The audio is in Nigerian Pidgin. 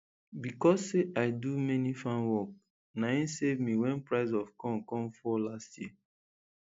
becos say i do many farm work na im save me wen price of corn come fall last year